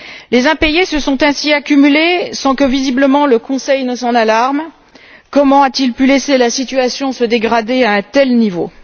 Les impayés se sont ainsi accumulés sans que visiblement le Conseil ne s'en alarme. Comment a t il pu laisser la situation se dégrader à un tel niveau?